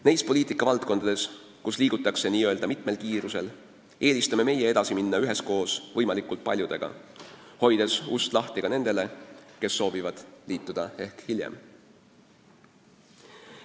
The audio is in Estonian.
Neis poliitikavaldkondades, kus liigutakse n-ö mitmel kiirusel, eelistame meie edasi minna üheskoos võimalikult paljudega, hoides ust lahti ka nendele, kes soovivad liituda hiljem.